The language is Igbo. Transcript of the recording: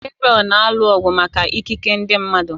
Gebriel na-alụ ọgụ maka ikike ndị mmadụ